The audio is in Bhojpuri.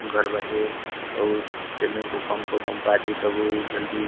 घर बाटे और एमे भूकंप ऊकम्प आ जाइ तबो ई जल्दी --